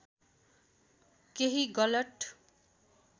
केही गलत